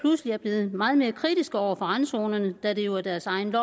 er blevet meget mere kritiske over for randzonerne da det jo er deres eget